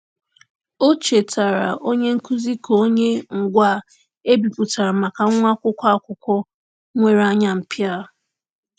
O chetaara onye nkuzi ka o nye ngwaa e bipụtara maka nwa akwụkwọ akwụkwọ nwere anya mpia.